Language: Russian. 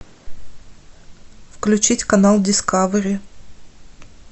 включить канал дискавери